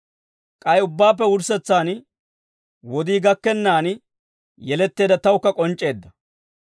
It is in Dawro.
K'ay ubbaappe wurssetsaan, wodii gakkennaan yeletteedda tawukka k'onc'c'eedda.